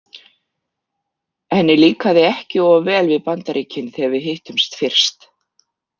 Henni líkaði ekki of vel við Bandaríkin þegar við hittumst fyrst.